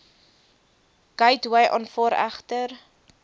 gateway aanvaar egter